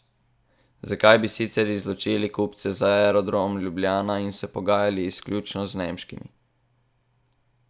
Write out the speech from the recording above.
Zakaj bi sicer izločili kupce za Aerodrom Ljubljana in se pogajali izključno z nemškim?